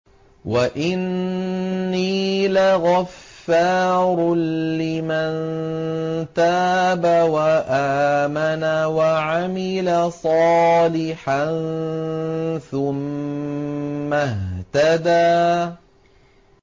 وَإِنِّي لَغَفَّارٌ لِّمَن تَابَ وَآمَنَ وَعَمِلَ صَالِحًا ثُمَّ اهْتَدَىٰ